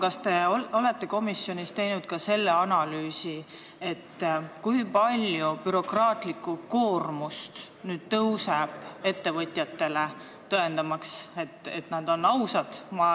Kas te olete komisjonis teinud ka selle kohta analüüsi, kui palju nüüd lisandub ettevõtjate bürokraatlikku koormust, tõendamaks, et nad on ausad?